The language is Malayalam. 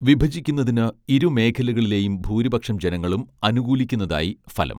വിഭജിക്കുന്നതിന് ഇരുമേഖലകളിലെയും ഭൂരിപക്ഷം ജനങ്ങളും അനുകൂലിക്കുന്നതായി ഫലം